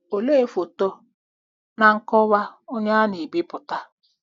Olee foto na nkọwa onye a na-ebipụta? '